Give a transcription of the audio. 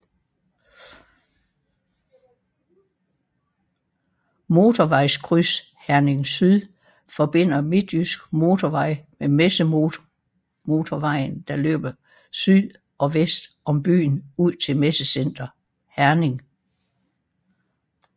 Motorvejskryds Herning Syd forbinder Midtjyske Motorvej med Messemotorvejen der løber syd og vest om byen ud til Messecenter Herning